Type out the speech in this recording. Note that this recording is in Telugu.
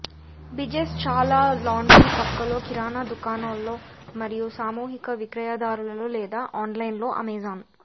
బిజెస్ చాలా లాండ్రీ పక్కలో కిరాణా దుకాణాల్లో మరియు సామూహిక విక్రయదారులలో లేదా ఆన్లైన్లో అమెజాన్